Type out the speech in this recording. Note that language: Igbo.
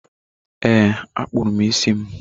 Ee, akpụrụ m isi m.